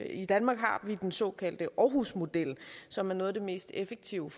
i danmark har vi den såkaldte aarhusmodel som er noget af det mest effektive